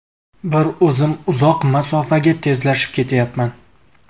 Bir o‘zim uzoq masofaga tezlashib ketyapman.